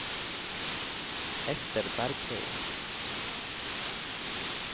Esther Bergheim